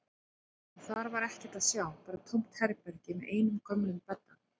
En þar var ekkert að sjá, bara tómt herbergi með einum gömlum bedda.